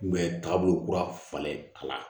taabolo kura falen a la